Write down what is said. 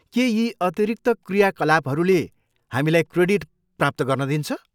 के यी अतिरिक्त क्रियाकलापहरूले हामीलाई क्रेडिट प्राप्त गर्न दिन्छ?